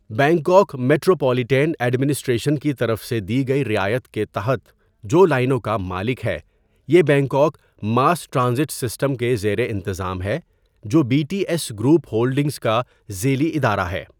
Bangkok metropolitan administration کی طرف سے دی گئی رعایت کے تحت جو لائنوں کا مالک ہےِ یہ بینکاک ماس ٹرانزٹ سسٹم کے زیر انتظام ہے، جو B T S group holdings کا ذیلی ادارہ ہے.